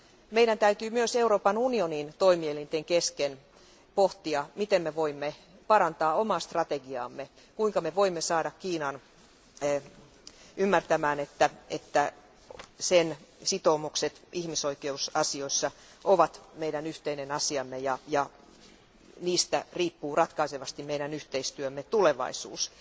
Meidän täytyy myös Euroopan unionin toimielinten kesken pohtia, miten me voimme parantaa omaa strategiaamme, kuinka voimme saada Kiinan ymmärtämään, että sen sitoumukset ihmisoikeusasioissa ovat meidän yhteinen asiamme ja niistä riippuu ratkaisevasti meidän yhteistyömme tulevaisuus.